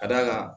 Ka d'a kan